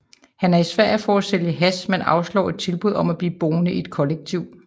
Han er i Sverige for at sælge hash men afslår et tilbud om at blive boende i et kollektiv